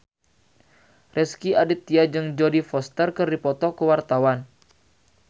Rezky Aditya jeung Jodie Foster keur dipoto ku wartawan